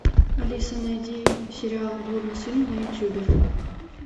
алиса найди сериал блудный сын на ютубе